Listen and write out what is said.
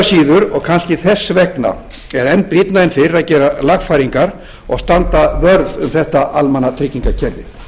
síður og kannski þess vegna er enn brýnna en fyrr að gera lagfæringar og standa vörð um þetta almannatryggingakerfi